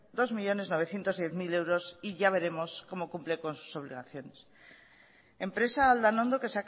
dos millónes novecientos diez mil euros y ya veremos como cumple con sus obligaciones empresa aldanondo que